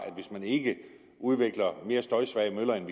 at hvis man ikke udvikler mere støjsvage møller end